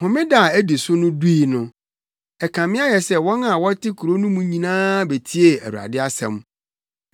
Homeda a edi so no dui no, ɛkame ayɛ sɛ wɔn a wɔte kurow no mu no nyinaa betiee Awurade asɛm.